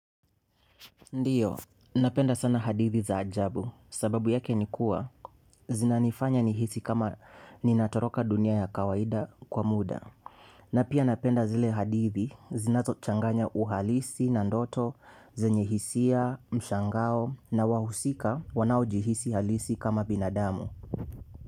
Ndiyo, napenda sana hadithi za ajabu, sababu yake nikuwa, zinanifanya nihisi kama ninatoroka dunia ya kawaida kwa muda. Na pia napenda zile hadithi, zinazochanganya uhalisi, na ndoto, zenye hisia, mshangao, na wahusika, wanaoji hisi halisi kama binadamu.